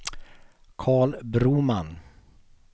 Carl Broman